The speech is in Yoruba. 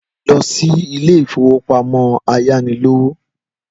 Lọ sí ilé ìfowópamọ́ ayánilówó.